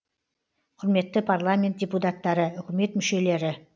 құрметті парламент депутаттары үкімет мүшелері